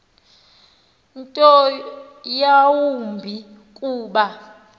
nto yawumbi kuba